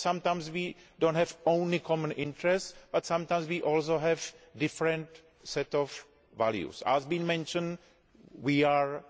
Because sometimes we do not have only common interests, but sometimes we also have a different sets of values. As has been mentioned, we have